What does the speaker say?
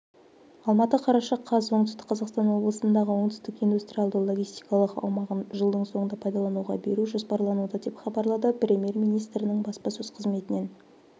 алматы қараша қаз оңтүстік қазақстан облысындағы оңтүстік индустриалды-логистикалық аумағын жылдың соңында пайдалануға беру жоспарлануда деп хабарлады премьер-министірінің баспасөз қызметінен